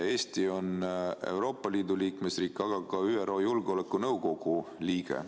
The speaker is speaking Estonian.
Eesti on Euroopa Liidu liikmesriik, aga ka ÜRO Julgeolekunõukogu liige.